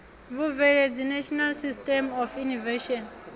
vhubveledzi national system of innovation